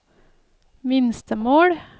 minstemål